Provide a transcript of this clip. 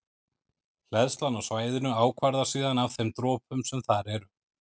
Hleðslan á svæðinu ákvarðast síðan af þeim dropum sem þar eru.